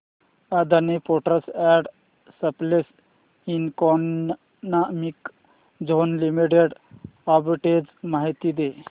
Adani ports and special economic zone limited arbitrage माहिती दे